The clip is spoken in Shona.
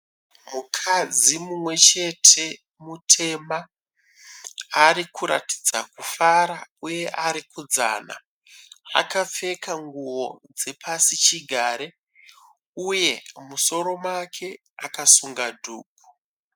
Mukadzi mumwe chete mutema ari kuratidza kufara uye arikudzana akapfeka nguwo dzepasi chigare uye mumusoro make akasunga dhuku.